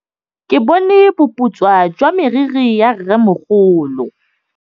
Ke bone boputswa jwa meriri ya rrêmogolo.